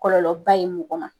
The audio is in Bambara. Kɔlɔlɔba ye mɔgɔ ye mɔgɔ ma